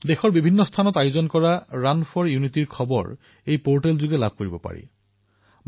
এই পৰ্টেলত দেশত ৰাণ ফৰ ইউনিটীৰ আয়োজন কৰা স্থানসমূহৰ বিষয়ে উল্লেখ কৰা হৈছে